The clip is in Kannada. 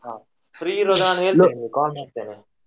ಹಾ free ಇರುವಾಗ ನಾನ್ ಹೇಳ್ತೆನೆ ನಿಮ್ಗೆ call ಮಾಡ್ತೆನೆ.